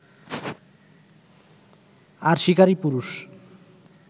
আর শিকারী পুরুষ